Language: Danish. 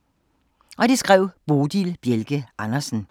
Af Bodil Bjelke Andersen